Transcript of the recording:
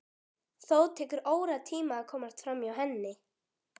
Þó tekur óratíma að komast framhjá henni.